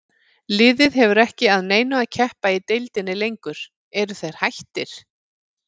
Liðið hefur ekki að neinu að keppa í deildinni lengur, eru þeir hættir?